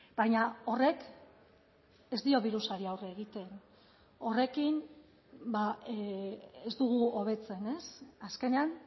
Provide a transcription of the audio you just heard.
baina horrek ez dio birusari aurre egiten horrekin ez dugu hobetzen azkenean